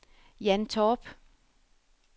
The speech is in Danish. Jan Torp